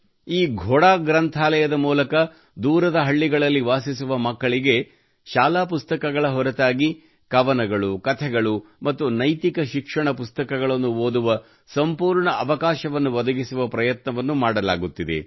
ಈ ಘೋಡಾ ಗ್ರಂಥಾಲಯದ ಮೂಲಕ ದೂರದ ಹಳ್ಳಿಗಳಲ್ಲಿ ವಾಸಿಸುವ ಮಕ್ಕಳಿಗೆ ಶಾಲಾ ಪುಸ್ತಕಗಳ ಹೊರತಾಗಿ ಕವನಗಳು ಕಥೆಗಳು ಮತ್ತು ನೈತಿಕ ಶಿಕ್ಷಣ ಪುಸ್ತಕಗಳನ್ನು ಓದುವ ಸಂಪೂರ್ಣ ಅವಕಾಶವನ್ನು ಒದಗಿಸುವ ಪ್ರಯತ್ನವನ್ನು ಮಾಡಲಾಗುತ್ತಿದೆ